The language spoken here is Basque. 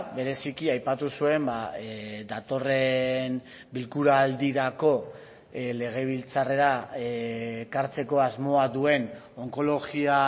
bereziki aipatu zuen datorren bilkura aldirako legebiltzarrera ekartzeko asmoa duen onkologia